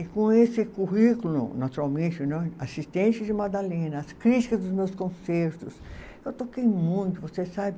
E com esse currículo, naturalmente né, assistente de Madalena, as críticas dos meus concertos, eu toquei muito, você sabe?